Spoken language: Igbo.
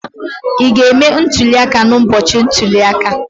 Ị ga-eme ntuli aka n'ụbọchị ntuli aka?